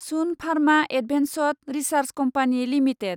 Sun Pharma Advanced Research Company limited